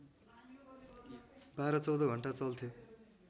१२ १४ घण्टा चल्थ्यो